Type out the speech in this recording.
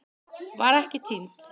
Var ekki týnd